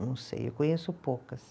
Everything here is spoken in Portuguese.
Não sei, eu conheço poucas.